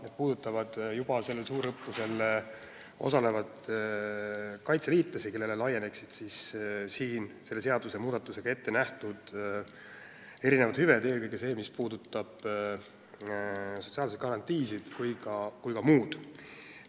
Need puudutaksid sel juhul juba tänavusel suurõppusel osalevaid kaitseliitlasi, kellele laieneksid selle seadusmuudatusega ettenähtud hüved, eelkõige see, mis puudutab sotsiaalseid garantiisid, aga ka muud.